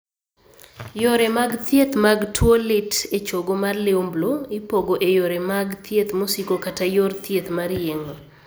Yore mag thieth mag tuo lit e chogo mar liumblu ipogo e yore mag thieth mosiko kata yor thieth mar yeng'o.